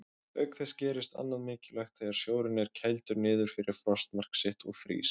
Auk þess gerist annað mikilvægt þegar sjórinn er kældur niður fyrir frostmark sitt og frýs.